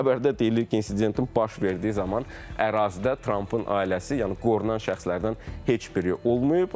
Xəbərdə deyilir ki, insidentin baş verdiyi zaman ərazidə Trampın ailəsi, yəni qorunan şəxslərdən heç biri olmayıb.